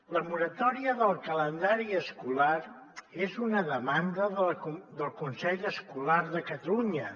la moratòria del calendari escolar és una demanda del consell escolar de catalunya